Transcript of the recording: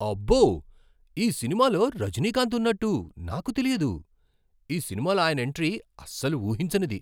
అబ్బో! ఈ సినిమాలో రజనీకాంత్ ఉన్నట్టు నాకు తెలియదు. ఈ సినిమాలో ఆయన ఎంట్రీ అస్సలు ఊహించనిది.